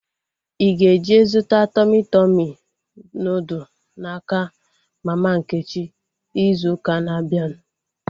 Ịga eje zụta Tọmị Tọmị nudụ n'aka mama Nkechi izu ụka na-abịanụ